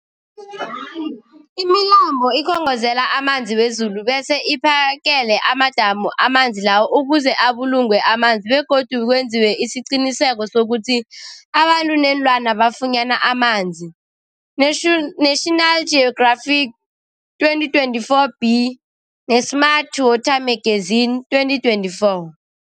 Imilambo ikhongozela amanzi wezulu bese iphakele amadamu amanzi lawo ukuze abulungwe amanzi begodu kwenziwe isiqiniseko sokuthi abantu neenlwana bafunyana amanzi, Nation National Geographic 2024b, ne-Smart Water Magazine 2024.